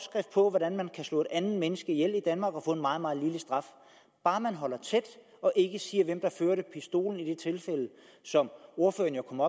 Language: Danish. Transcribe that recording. på hvordan man kan slå et andet menneske ihjel i danmark og få en meget meget lille straf bare man holder tæt og ikke siger hvem der førte pistolen i det tilfælde som ordføreren jo kom